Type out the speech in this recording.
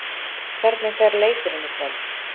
Hvernig fer leikurinn í kvöld?